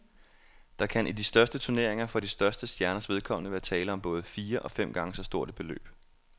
Der kan i de største turneringer for de største stjerners vedkommende være tale om både fire og fem gange så stort et beløb.